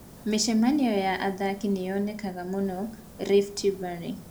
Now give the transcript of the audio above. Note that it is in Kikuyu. Mĩcemanio ya athaki nĩ yonekaga mũno Rift Valley.